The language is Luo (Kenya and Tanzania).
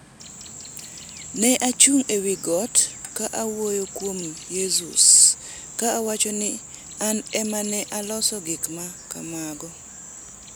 Ne achung’ e wi got ka awuoyo kuom Yeezus ka awacho ni ‘An ema ne aloso gik ma kamago.